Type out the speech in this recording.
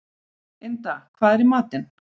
Ynda, hvað er í matinn?